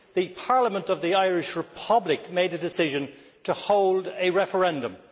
The Parliament of the Irish Republic made a decision to hold a referendum